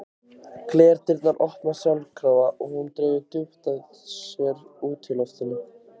Glerdyrnar opnast sjálfkrafa og hún dregur djúpt að sér útiloftið.